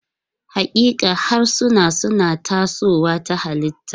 Haƙiƙa, harsuna suna tasowa ta halitta.